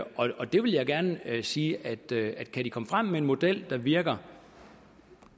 det vil jeg gerne sige at kan de komme frem med en model der virker